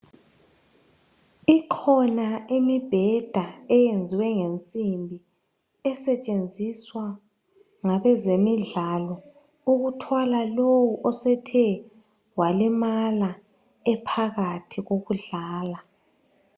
Ikhona imibheda eyenziwe ngensimbi esetshenziswa ngabezemidlalo okuthwala lowo osethe walimala ephakathi kokudlala.